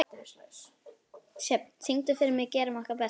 Sjöfn, syngdu fyrir mig „Gerum okkar besta“.